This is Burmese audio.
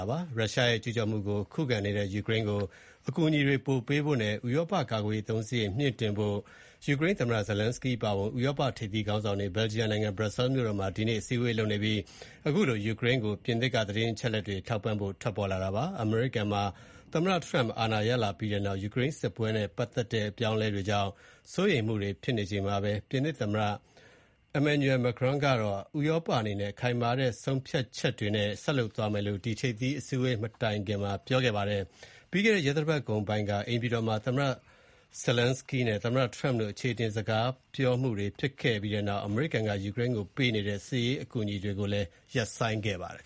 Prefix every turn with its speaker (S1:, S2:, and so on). S1: ာပါ။ ရုရှားရဲ့ကျူးကျော်မှုကို ခုခံနေတဲ့ယူကရိန်းကို အကူအညီတွေပိုပေးဖို့နဲ့ ဥရောပကာကွယ်ရေး အသုံး စရိတ်မြှင့်တင်ဖို့ အတွက် ယူကရိန်းသမ္မတ Volodymyr Zelenskyy အပါအဝင် ဥရောပထိပ်သီး ခေါင်းဆောင်တွေ Belgium နိုင်ငံ Brussels မြို့တော်မှာ ဒီကနေ့ တွေ့ဆုံ ဆွေးနွေးနေကြပါတယ်။ ဆွေးနွေးမှု မစခင် ပြင်သစ်နိုင်ငံက ခုလို ကြေညာခဲ့တာပါ။ အမေရိကန်ပြည်ထောင်စုမှာ သမ္မတ Donald Trump အာဏာရလာပြီးနောက် ယူကရိန်းစစ်ပွဲအပေါ် ထောက်ပံ့မှုတွေ ရပ်ဆိုင်းနေတာကို စိုးရိမ်နေကြချိန်မှာ ပြင်သစ်သမ္မတ Emmanuel Macron ကတော့ ဥရောပအနေနဲ့ ခိုင်မာတဲ့ဆုံး ဖြတ်ချက်တွေနဲ့ ဆက်လက်လုပ်ဆောင်သွားမယ်လို့ ပြောကြားခဲ့ပါတယ်။ ပြီးခဲ့တဲ့ သီတင်းပတ်က အိမ်ဖြူတော်မှာ သမ္မတZelenskyy နဲ့ သမ္မ Trump တို့ အချေအတင်ဖြစ်ခဲ့ကြ ပြီးနောက် အမေရိကန်က ယူကရိန်းကိုပေးနေတဲ့ စစ်ရေးအကူအညီတွေကိုရပ်ဆိုင်းခဲ့ပါတယ်။